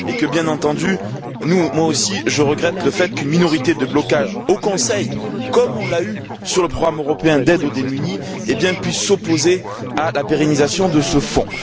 Bien entendu, moi aussi, je regrette qu'une minorité de blocage au Conseil comme on l'a eue sur le programme européen d'aide aux plus démunis puisse s'opposer à la pérennisation de ce Fonds.